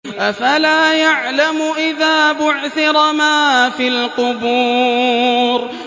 ۞ أَفَلَا يَعْلَمُ إِذَا بُعْثِرَ مَا فِي الْقُبُورِ